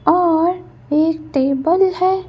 और एक टेबल है।